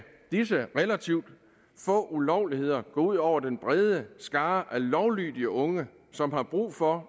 disse relativt få ulovligheder gå ud over den brede skare af lovlydige unge som har brug for